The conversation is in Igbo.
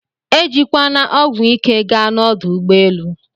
Ejikwana ọgwụ ike gaa na ọdụ ụgbọelụ